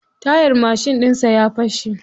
Tayar mashin ɗinsa ya fashe.